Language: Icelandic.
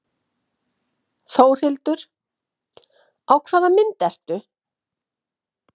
Þórhildur: Á hvaða mynd ertu?